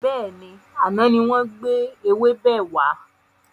Bẹ́ẹ̀ni, àná ni wọn gbé ewébẹ̀ wà.